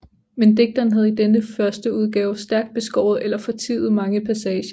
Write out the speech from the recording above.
Men digteren havde i denne førsteudgave stærkt beskåret eller fortiet mange passager